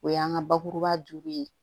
O y'an ka bakuruba ye